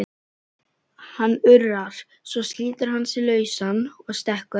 Hann urrar, svo slítur hann sig lausan og stekkur á